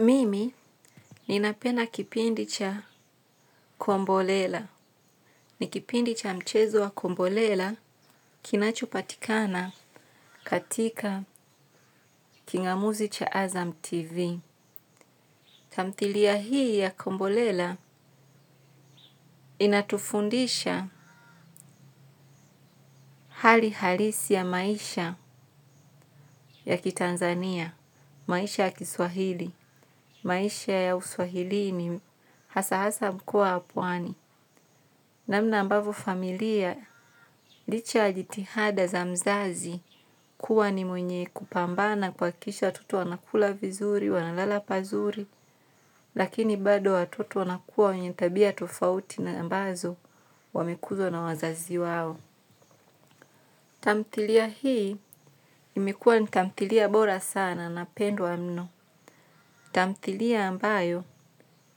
Mimi ninapenda kipindi cha Kombolela. Ni kipindi cha mchezo wa Kombolela kinachopatikana katika kingamuzi cha Azam TV. Tamthilia hii ya Kombolela inatufundisha hali halisi ya maisha ya kitanzania, maisha ya kiswahili, maisha ya uswahili ni hasa hasa mkoa wa pwani. Namna ambavo familia, licha ya jitihada za mzazi kuwa ni mwenye kupambana kuhakikisha watoto wanakula vizuri, wanalala pazuri, lakini bado watoto wanakuwa wenye tabia tofauti na ambazo wamekuzwa na wazazi wao. Tamthilia hii, imekuwa ni tamtilia bora sana na pendwa mno. Tamthilia ambayo,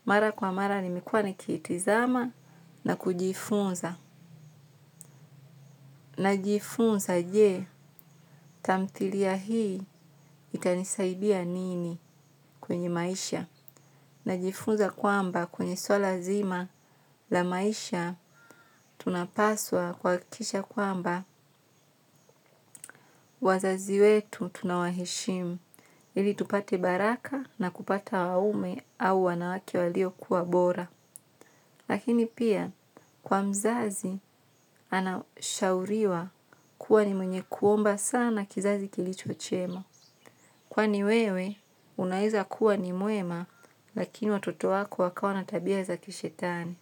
mara kwa mara, nimekuwa nikiitizama na kujifunza. Na jifunza je tamthilia hii itanisaidia nini kwenye maisha. Na jifunza kwamba kwenye suala zima la maisha tunapaswa kuhakikisha kwamba wazazi wetu tunawaheshimu. Ili tupate baraka na kupata waume au wanawake walio kuwa bora. Lakini pia kwa mzazi anashauriwa kuwa ni mwenye kuomba sana kizazi kilicho chema. Kwani wewe, unaeza kuwa ni mwema, lakini watoto wako wakawa na tabia za kishetani.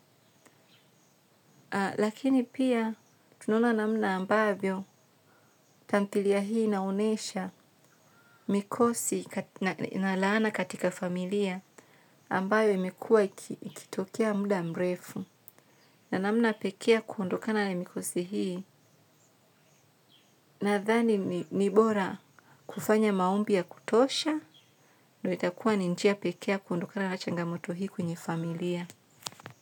Lakini pia, tunaona namna ambavyo, tamthilia hii inaonesha mikosi na laana katika familia, ambayo imekuwa ikitokea muda mrefu. Na namna pekee ya kuondokana na mikosi hii, nathani ni bora kufanya maombi ya kutosha, ndo itakuwa ni njia pekee ya kuondokana na changamoto hii kwenye familia. Kwa hivyo.